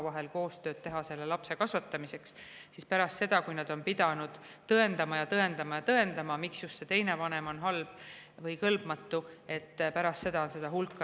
Kui enne kohtumenetlust vast oli veel mingi lootus, siis pärast seda, kui nad on pidanud tõendama ja tõendama ja tõendama, miks teine vanem on halb või kõlbmatu, on seda hulga raskem.